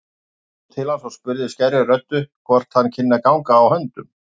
Hún brosti til hans og spurði skærri röddu hvort hann kynni að ganga á höndum.